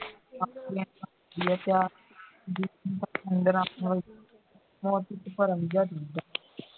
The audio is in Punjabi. ਨਾਲ